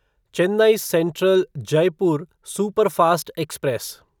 Chennai central Jaipur superfast express